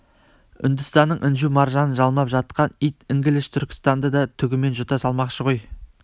үндістанның інжу-маржанын жалмап жатқан ит інгіліш түркістанды да түгімен жұта салмақшы ғой